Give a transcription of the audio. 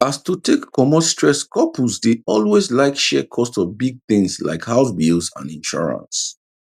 as to take commot stress couples dey always like share cost of big things like house bills and insurance